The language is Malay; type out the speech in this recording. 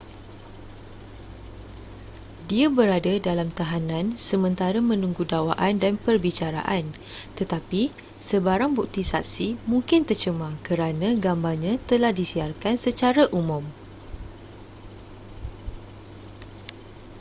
dia berada dalam tahanan sementara menunggu dakwaan dan perbicaraan tetapi sebarang bukti saksi mungkin tercemar kerana gambarnya telah disiarkan secara umum